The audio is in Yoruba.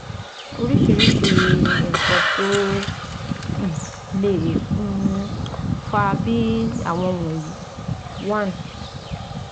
Óríṣiríṣi nǹkan tó um lè um fà á, bí àwọn wọ̀nyí: one